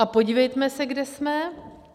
A podívejme se, kde jsme.